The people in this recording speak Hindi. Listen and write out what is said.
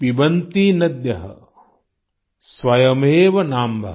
पिबन्ति नद्यः स्वयमेव नाम्भः